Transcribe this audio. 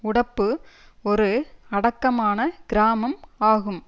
உடப்பு ஒரு அடக்கமான கிராமம் ஆகும்